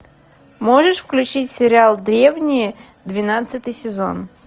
можешь включить сериал древние двенадцатый сезон